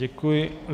Děkuji.